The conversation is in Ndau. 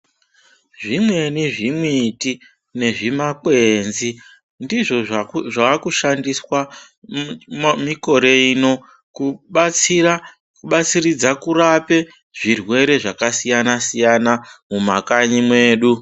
Zvimweni zvimiti nezvimakwenzi ndizvo zvaakushandiswa mikore ino kubatsiridza kurape zvirwere zvakasiyana siyana mumakanyi mwedu.